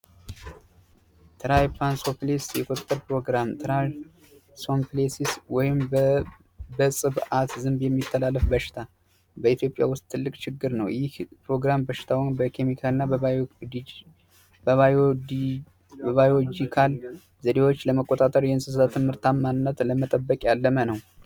ትራይፓንሶፕሊስ የቁጥጥር ፕሮግራም ትራይፓንሶፕሊስስ ወይም በጽብዓት ዝንብ የሚተላለፍ በሽታ በኢትዮጵያ ውስጥ ትልቅ ችግር ነው። ይህ ፕሮግራም በሽታውን በኬሚካል እና በባዮጂካል ዘዴዎች ለመቆታጠር የእንስሳ ትምህርታማናት ለመጠበቅ ያለመ ነው።